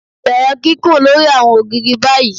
Bẹrẹ kikun lori awọn ògiri bayi